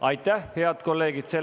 Aitäh, head kolleegid!